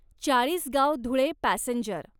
Chalisgaon Dhule passenger